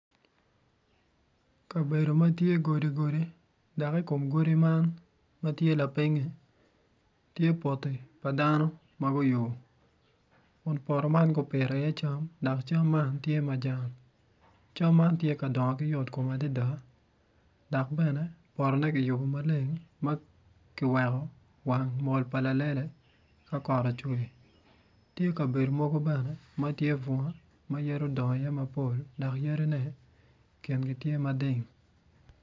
Kabedo ma tye godi godi dok i kom godi man ma tye lapinyi tye poti pa dano ma guyubo kun poto man gupito iye cam dok cam man tye iye majan cam man tye yotkom adada dok bene potone kiyubo maleng ma kiweko wang mol pa lalele ka kot ocwe tye kabedo mogo bene ma tye bunga ma yadi odongo iye mapol dok yadine kine tye mading.